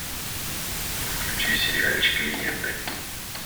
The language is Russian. включи сериальчик легенды